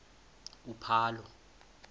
uphalo